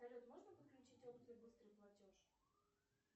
салют можно подключить опцию быстрый платеж